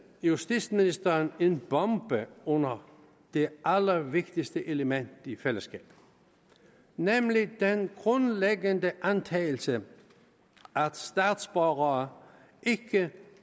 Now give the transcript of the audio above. justitsministeren en bombe under det allervigtigste element i fællesskabet nemlig den grundlæggende antagelse at statsborgere ikke